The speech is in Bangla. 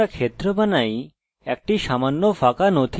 আমি যে ক্ষেত্র চাই তা লেখা শুরু করব